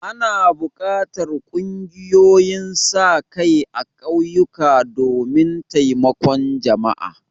Ana buƙatar ƙungiyoyin sa-kai a ƙauyuka domin taimakon jama'a.